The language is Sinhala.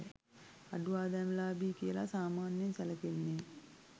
අඩු ආදායම්ලාභී කියලා සාමාන්‍යයෙන් සැලකෙන්නේ